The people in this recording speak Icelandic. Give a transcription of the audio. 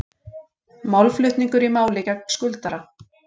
Málflutningur í máli gegn skuldara